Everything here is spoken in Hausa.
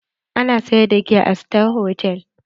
Ana sayar da giya a sitar hotal?